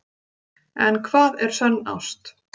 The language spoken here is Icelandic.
En hvað er sönn ást?